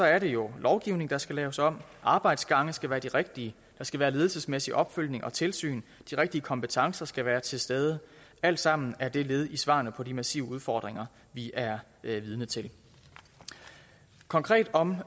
er det jo lovgivning der skal laves om arbejdsgange skal være de rigtige der skal være ledelsesmæssig opfølgning og tilsyn de rigtige kompetencer skal være til stede alt sammen er det led i svarene på de massive udfordringer vi er vidne til konkret om